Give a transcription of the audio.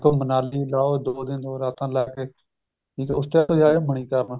ਮਨਾਲੀ ਲਾਓ ਦੋ ਦਿਨ ਦੋ ਰਾਤਾਂ ਲਾ ਕੇ ਉਸ ਤੋਂ ਬਾਅਦ ਜਾਵੇ ਮਨੀਕਰਨ